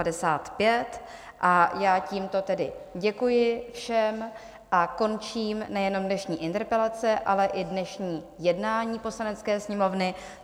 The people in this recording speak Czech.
A já tímto tedy děkuji všem a končím nejenom dnešní interpelace, ale i dnešní jednání Poslanecké sněmovny.